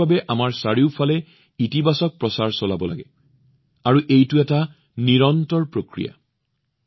পৰিৱেশৰ বাবে আমাৰ চাৰিওফালে এটা ইতিবাচক প্ৰচাৰ চলাব লাগে আৰু এইটো এটা নিৰন্তৰ কাম